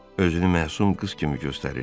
Özünü məsum qız kimi göstərir.